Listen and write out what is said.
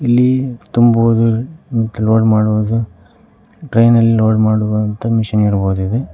ಇಲ್ಲಿ ತುಂಬುವುದು ಲೋಡ್ ಮಾಡುವುದು ಟ್ರೈನ್ ಅಲ್ಲಿ ಲೋಡ್ ಮಾಡುವಂತ ಮಷೀನ್ ಇರಬಹುದು ಇದು.